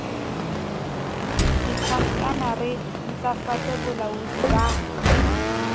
ditjhankana re ntlafatse boalaodi ba